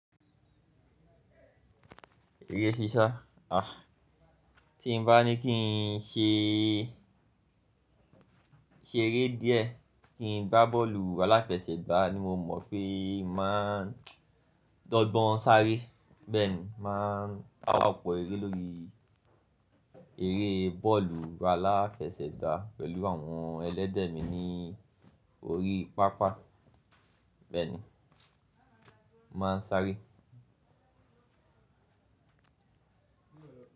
Eré ṣíṣá, àh, tí n bá ní kí n ṣee, ṣeré díẹ̀, kí n gbá bọ́ọ̀lù aláfẹsẹ̀gbá ni mo mọ̀ pé n màá dọ́gbọ́n sáré. Bẹ́ẹ̀ni, n màá sa ọ̀pọ̀ eré lórí eré bọ́ọ̀lù aláfẹsẹ̀gbá pẹ̀lú àwọn ẹlẹ́gbẹ̀ mi ní orí pápá. Bẹ́ẹ̀ni, n màá n sáré.